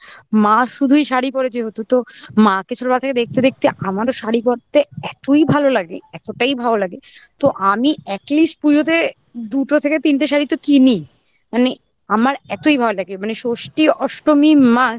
মা শুধুই শাড়ি পরে যেহেতু তো মা কে ছোটবেলা থেকে দেখতে দেখতে আমারও শাড়ি পরতে এতই ভালো লাগে এতটাই ভালো লাগে তো আমি atleast পুজোতে দুটো থেকে তিনটে শাড়ি তো কিনি মানে আমার এতই ভালো লাগে মানে ষষ্ঠী, অষ্টমী must